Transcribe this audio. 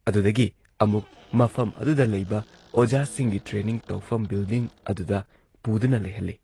ꯑꯗꯨꯗꯒꯤ ꯑꯃꯨꯛ ꯃꯐꯝ ꯑꯗꯨꯗ ꯂꯩꯕ ꯑꯣꯖꯥꯁꯤꯡꯒꯤ ꯇ꯭ꯔꯦꯅꯤꯡ ꯇꯧꯐꯝ ꯕꯤꯜꯗꯤꯡ ꯑꯗꯨꯗ ꯄꯨꯗꯨꯅ ꯂꯩꯍꯜꯂꯤ